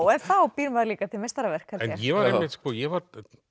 en þá býr maður líka til meistaraverk held ég ég var